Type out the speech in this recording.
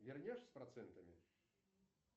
вернешь с процентами